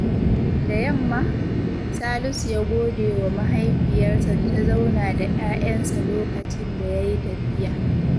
Da yamma, Salisu ya gode wa mahaifiyarsa da ta zauna da 'ya'yansa lokacin da ya yi tafiya.